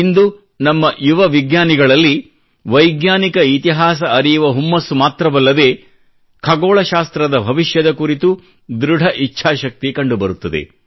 ಇಂದು ನಮ್ಮ ಯುವ ವಿಜ್ಞಾನಿಗಳಲ್ಲಿ ವ್ಶೆಜ್ಞಾನಿಕ ಇತಿಹಾಸ ಅರಿಯುವ ಹುಮ್ಮಸ್ಸು ಮಾತ್ರವಲ್ಲದೆ ಖಗೋಳಶಾಸ್ತ್ರದ ಭವಿಷ್ಯದ ಕುರಿತೂ ಧೃಡ ಇಚ್ಛಾಶಕ್ತಿ ಕಂಡುಬರುತ್ತದೆ